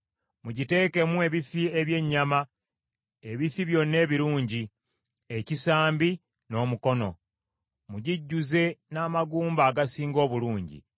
Mugiteekemu ebifi eby’ennyama, ebifi byonna ebirungi, ekisambi n’omukono. Mugijjuze n’amagumba agasinga obulungi,